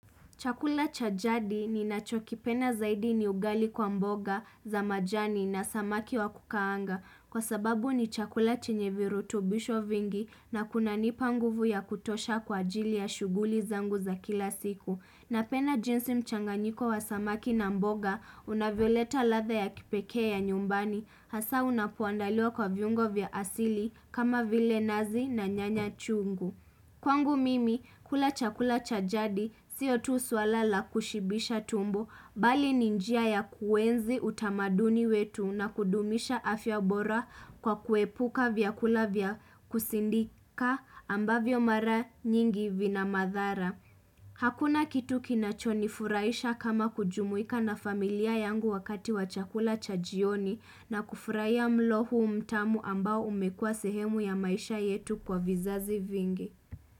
Chakula chajadi ni nacho kipenda zaidi ni ugali kwa mboga za majani na samaki wa kukaanga Kwa sababu ni chakula chenye virutubisho vingi na kuna nipa nguvu ya kutosha kwa ajili ya shuguli zangu za kila siku na penda jinsi mchanganyiko wa samaki na mboga unavyoleta latha ya kipekee ya nyumbani Hasa unapoandaliwa kwa viungo vya asili kama vile nazi na nyanya chungu Kwangu mimi, kula chakula chajadi, siotu swalala kushibisha tumbo, bali ninjia ya kuenzi utamaduni wetu na kudumisha afya bora kwa kuepuka vyakula vyakusindika ambavyo mara nyingi vina madhara. Hakuna kitu kinachonifuraisha kama kujumuika na familia yangu wakati wa chakula chajioni na kufurahia mlo huu mtamu ambao umekua sehemu ya maisha yetu kwa vizazi vingi.